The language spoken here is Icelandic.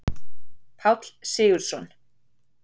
Páll Sigurðsson.